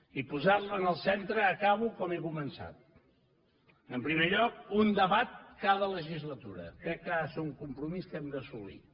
i posar la en el centre acabo com he començat en primer lloc amb un debat cada legislatura crec que ha de ser un compromís que hem d’assolir